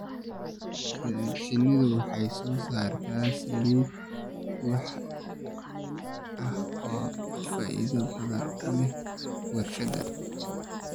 Shinnidu waxay soo saartaa saliid waxy ah oo faa'iido badan u leh warshadaha.